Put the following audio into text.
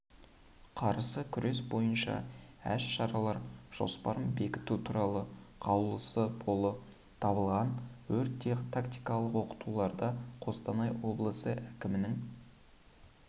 қарсы кұрес бойынша әс-шаралар жоспарын бекіту туралы қаулысы болы табылған өрт-тактикалық оқытуларда қостанай облысы әкімінің